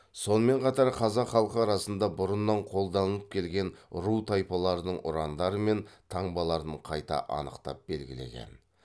сонымен қатар қазақ халқы арасында бұрыннан қолданылып келген ру тайпалардың ұрандары мен таңбаларын қайта анықтап белгілеген